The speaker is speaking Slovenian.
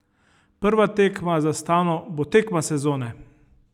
Prva tekma z Astano bo tekma sezone!